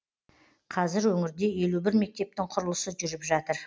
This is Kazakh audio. қазір өңірде елу бір мектептің құрылысы жүріп жатыр